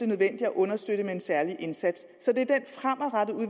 nødvendigt at understøtte med en særlig indsats så det